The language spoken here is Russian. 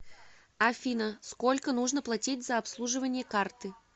афина сколько нужно платить за обслуживание карты